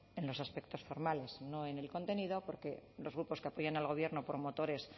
en los aspectos formales no en el contenido porque los grupos que apoyan al gobierno promotores